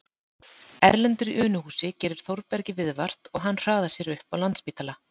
Erlendur í Unuhúsi gerir Þórbergi viðvart og hann hraðar sér upp á Landspítala